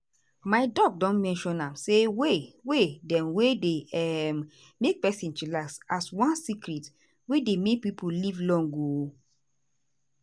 my doc don mention am say way way dem wey dey um make person chillax as one secret wey dey make pipo live long. um